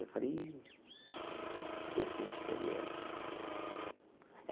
Eu falei ih... Eu tenho experiência.